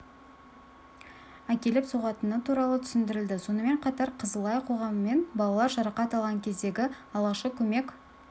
әкеліп соғатыны туралы түсіндірілді сонымен қатар қызыл ай қоғамымен балалар жарақат алған кездегі алғашқы көмек